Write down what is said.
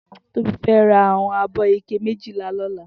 Tobi fè rá áwòn ábò iké méjilá lòlà